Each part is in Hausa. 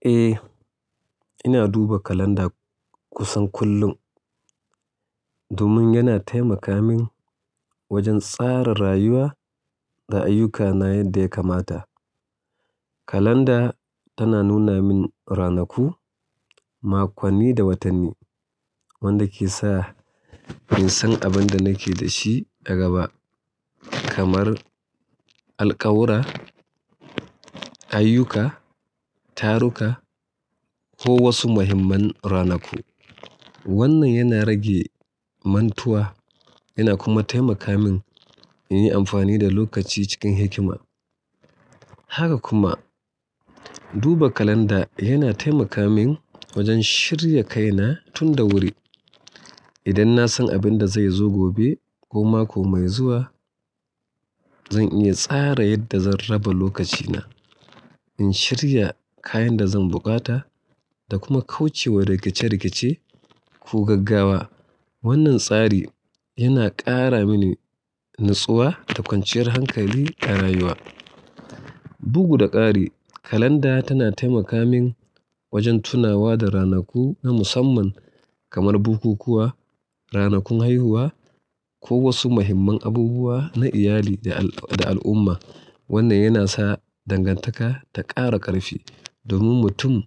Eh, ina duba kalanda kusan kullum domin yana taimaka min wajen tsara rayuwa da ayyukana yadda ya kamata. Kalanda tana nuna min ranaku makonni da watanni wanda ke sa in san abin da nake da shi a gaba kamar alƙawura ayyuka, taruka ko wasu muhimman ranaku. Wannan yana rage mantuwa yana kuma taimaka min in yi amfani da lokaci cikin hikima. Haka kuma, duba kalanda yana taimaka min wajen shirya kaina tun da wuri. Idan na san abin da zai zo gobe ko mako mai zuwa zan iya tsara yadda zan raba lokacina in shirya kayan da zan buƙata da kuma kauce wa rikice rikice ko gaggawa. Wannan tsari yana ƙara mini natsuwa da kwanciyar hankali a rayuwa. Bugu da ƙari, kalanda tana taimaka min wajen tunawa da ranaku na musamman kamar bukukuwa, ranakun haihuwa, ko wasu muhimman abubuwa na iyali da al'umma. Wannan yana sa dangantaka ta ƙara ƙarfi domin mutum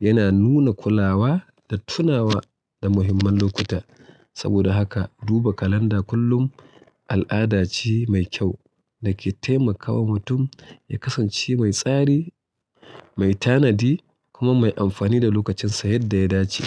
yana nuna kulawa da tunawa da muhimman lokuta saboda haka duba kalanda kullum al'ada ce mai kyau da ke taimakawa mutum ya kasance mai tsari mai tanadi kuma mai amfani da lokacinsa yadda ya dace.